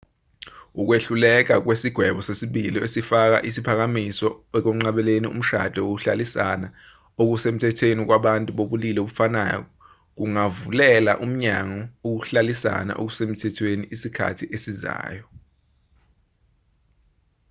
ukwehluleka kwesigwebo sesibili esifaka isiphakamiso ukwenqabeli umshado wokuhlalisana okusemthethweni kwabantu bobulili obufanayo kungavulela umnyango ukuhlalisana okusemthethweni esikhathini esizayo